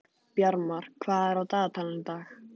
Bjarmar, hvað er á dagatalinu í dag?